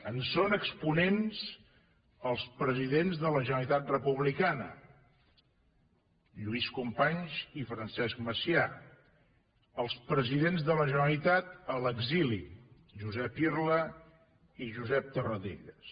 en són exponents els presidents de la generalitat republicana lluís companys i francesc macià els presidents de la generalitat a l’exili josep irla i josep tarradellas